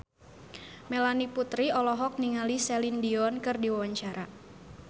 Melanie Putri olohok ningali Celine Dion keur diwawancara